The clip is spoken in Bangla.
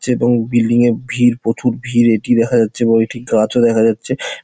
এবং বিল্ডিং -এ ভিড় প্রচুর ভিড় এটি দেখা যাচ্ছে। এবং একটি গাছও দেখা যাচ্ছে ।